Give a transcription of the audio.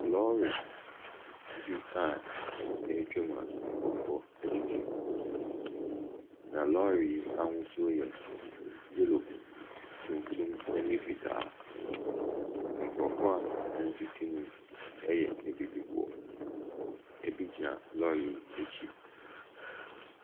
Lɔri bi a ɛretwa mu a nkorɔfoɔ ɛtete mu. Na lɔri yi ahosuo yɛ yellow, tuntum ɛna fitaa. Nkorɔfoɔ a wɔtete mu yi ɛyɛ abibifoɔ. Ebi gyina lɔri yi ɛkyi.